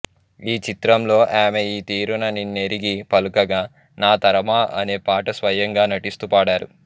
ఈ చిత్రంలో ఆమె ఈ తీరున నిన్నెరిగి పలుకగా నాతరమా అనే పాట స్వయంగా నటిస్తూ పాడారు